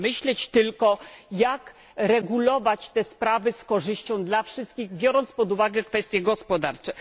Można myśleć tylko, jak regulować te sprawy z korzyścią dla wszystkich, biorąc pod uwagę kwestie gospodarcze.